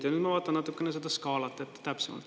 Ja nüüd ma vaatan natukene seda skaalat täpsemalt.